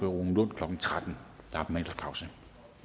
rune lund klokken tretten der er middagspause